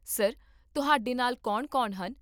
Sir, ਤੁਹਾਡੇ ਨਾਲ ਕੌਣ ਕੌਣ ਹਨ?